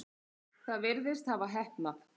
Það virðist hafa heppnað.